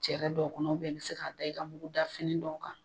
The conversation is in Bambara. Cɛrɛ dɔ kɔnɔ i bi se k'a da i ka mugudafini dɔw kan.